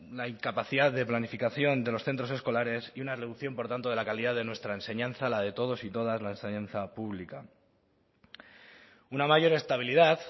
la incapacidad de planificación de los centros escolares y una reducción por tanto de la calidad de nuestra enseñanza la de todos y todas la enseñanza pública una mayor estabilidad